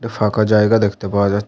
একটি ফাঁকা জায়গা দেখতে পাওয়া যা --